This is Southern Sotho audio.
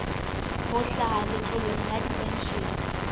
ho hlaha letloleng la dipenshene